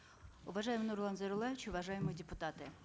уважаемый нурлан зайроллаевич уважаемые депутаты